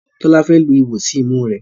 Tola Fe lu iwọ sí imú rẹ